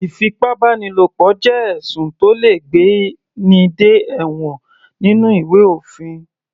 Ìfipábánilo jẹ́ ẹ̀sùn tó le gbé ní dé ẹ̀wọ̀n nínú ìwé òfin.